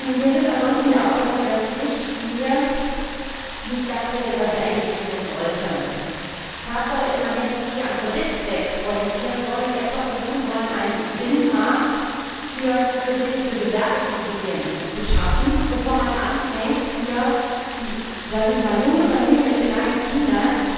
Wir sind ansonsten der Auffassung, dass die Richtlinie nicht das regelt, was sie eigentlich regeln sollte. Tatsache ist, man hätte sich hier am Kreditzweck orientieren und erst einmal versuchen sollen, einen Binnenmarkt für Kredite für Gewerbeimmobilien zu schaffen, bevor man anfängt, hier die junge Familie mit kleinen Kindern